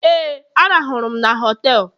Éè, ahụrụ m m na họtelu